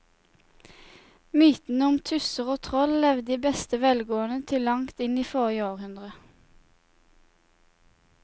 Mytene om tusser og troll levde i beste velgående til langt inn i forrige århundre.